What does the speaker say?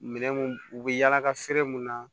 Minɛn mun u bɛ yala ka feere mun na